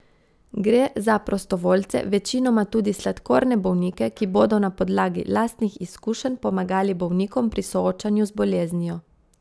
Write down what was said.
Gre za prostovoljce, večinoma tudi sladkorne bolnike, ki bodo na podlagi lastnih izkušenj pomagali bolnikom pri soočanju z boleznijo.